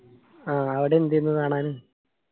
ആ അവടെ എന്തേര്ന്നു കാണാന്?